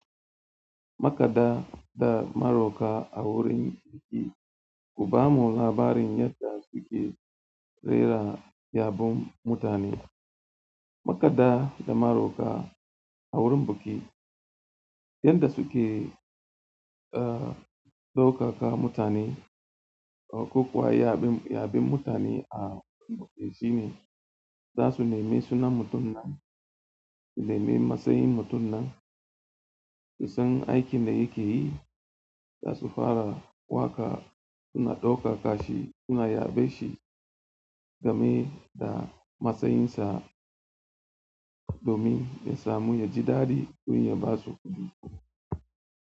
Makada da maroka a wurin biki, ku bamu labarin yadda suke rera yabon mutane. Makada da maroka a wurin biki, yanda suke, uh, ɗaukaka mutane ko ko kuwa yabe, yaben mutane a biki shi ne za su nemi sunan mutum nan, su nemi matsayin mutum nan, su san aikin da yake yi, za su fara waƙa suna ɗaukaka shi, suna yabe shi game da matsayinsa domin ya samu yaji daɗi don ya basu kudi.